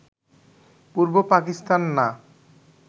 পূর্ব পাকিস্তান না